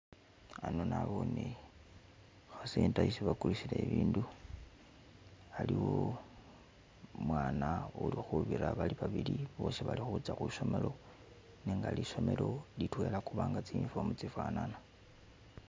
Hano nabone center esi bagulisila ibindu haliwo umwana uli khubira bali babili bosi bali khutsa khwisomelo nenga lisomelo litwela kubanga tsi uniform tsifanana.